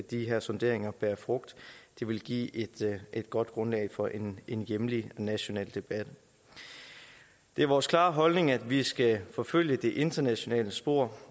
de her sonderinger bærer frugt det vil give et godt grundlag for en en hjemlig national debat det er vores klare holdning at vi skal forfølge det internationale spor